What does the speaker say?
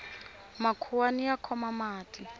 makhuwani ya khoma mati